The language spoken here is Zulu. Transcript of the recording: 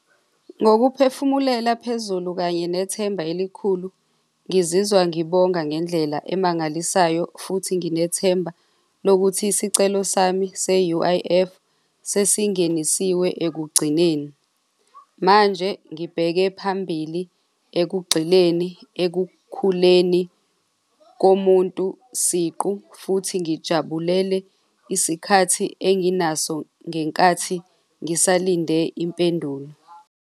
Ngokuphefumulela phezulu kanye nethemba elikhulu. Ngizizwa ngibonga ngendlela emangalisayo futhi nginethemba lokuthi isicelo sami se-U_I_F sesingenisiwe ekugcineni. Manje ngibheke phambili ekugxileni ekukhuleni komuntu siqu futhi ngijabulele isikhathi enginaso ngenkathi ngisalinde impendulo.